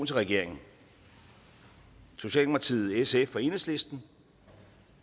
til regeringen socialdemokratiet sf og enhedslisten